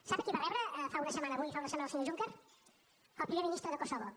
sap a qui va rebre fa una setmana avui fa una setmana el senyor juncker al primer ministre de kosovo